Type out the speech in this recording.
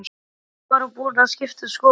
Eða var hún búin að skipta um skoðun?